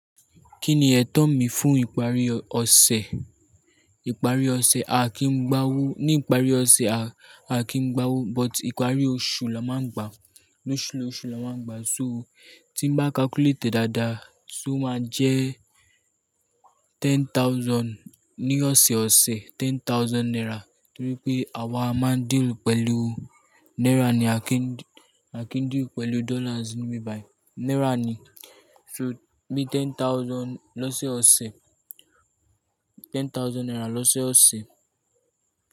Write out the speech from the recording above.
Kí ni ẹ̀tọ́ mi fún ìparí ọ̀sẹ̀? Ìparí ọ̀sẹ̀ a kí ń gbá owó, ní ìparí ọ̀sẹ̀ a kí ń gbá owó, but ìparí oṣù la máa ń gbàá, loṣu loṣù la máa ń gbàá. So tí mo bá calculate dáadáa, so máa jẹ́ thousand ní ọ̀sẹ̀ẹ̀ ọ̀sẹ̀, ten thousand naira. Nítorí pé àwa máa ń deal pẹ̀lú náírà ni, a kí ń deal pẹ̀lú dollars níbi bayii, náírà ni. So mi ten thousand lọ́sẹ̀ ọ̀sẹ̀, ten thousand naira lọ́sẹ̀ ọ̀sẹ̀